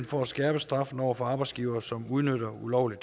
for at skærpe straffen over for arbejdsgivere som udnytter ulovlig